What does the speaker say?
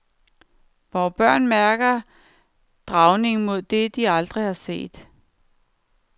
Vore børn mærker dragningen mod det, de aldrig har set.